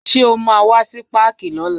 Ṣé o máa wá sí páàkì lọ́la?